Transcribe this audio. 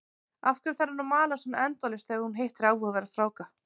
Af hverju þarf hún að mala svona endalaust þegar hún hittir áhugaverða stráka?